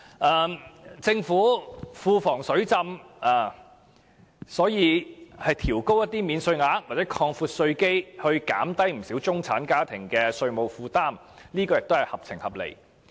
既然政府庫房"水浸"，調高免稅額或擴闊稅基以減輕中產家庭的稅務負擔，亦屬合情合理。